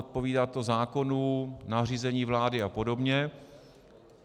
Odpovídá to zákonům, nařízení vlády a podobně.